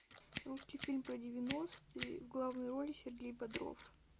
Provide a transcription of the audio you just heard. русский фильм про девяностые в главной роли сергей бодров